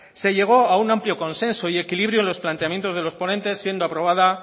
se llegó a un amplio consenso y equilibrio en los planteamientos de los ponentes siendo aprobada